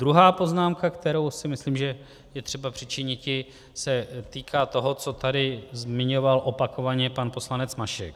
Druhá poznámka, kterou si myslím, že je potřeba přičiniti, se týká toho, co tady zmiňoval opakovaně pan poslanec Mašek.